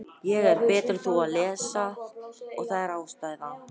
Enda á járnið miklu betur við á þessari járn- og morðöld sem við lifum á.